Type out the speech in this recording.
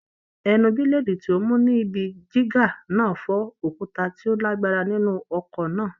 Ẹnu bílèdì tí ó mú ni ibi jígà náà fọ́ òkúta tí ó lágbára nínú ọkọ náà.